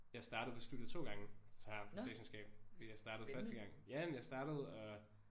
Jeg startede på studiet 2 gange altså her på statskundskab fordi jeg startede første gang ja men jeg startede og